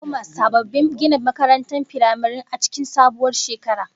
Za'a koma sababbin ginin makarantar firamaren a cikin sabuwar shekara